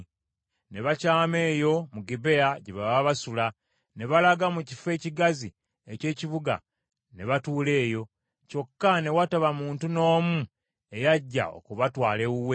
Ne bakyama eyo mu Gibea, gye baba basula. Ne balaga mu kifo ekigazi eky’ekibuga ne batuula eyo, kyokka ne wataba muntu n’omu eyajja okubatwala ewuwe.